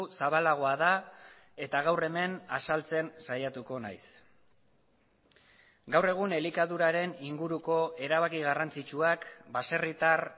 zabalagoa da eta gaur hemen azaltzen saiatuko naiz gaur egun elikaduraren inguruko erabaki garrantzitsuak baserritar